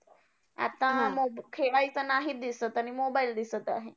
आता मोब खेळायचं नाही दिसत आणि mobile दिसत आहे.